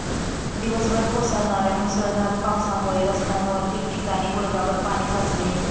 दिवसभर कोसळणाऱ्या मुसळधार पावसामुळे रस्त्यांवर ठिकठिकाणी गुडघाभर पाणी साचले होते.